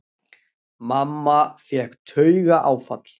Mamma fékk taugaáfall.